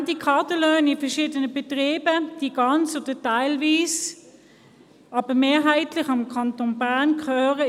Horrende Kaderlöhne in verschiedenen Betrieben, welche ganz oder teilweise, aber mehrheitlich dem Kanton Bern gehören: